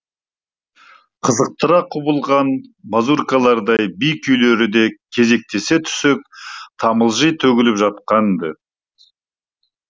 қызықтыра құбылған мазуркалардай би күйлері де кезектесе түсіп тамылжи төгіліп жатқан ды